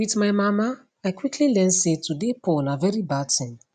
wit my mama i quickly learn say to dey poor na very bad tin